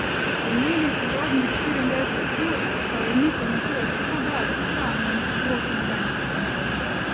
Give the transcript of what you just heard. Pomeni čarobnih štiriindvajset ur, ko je misel na šolo tako daleč stran, da ne povzroča nobenih skrbi.